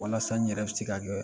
Walasa n ɲɛrɛ bi se ka jɔ yan.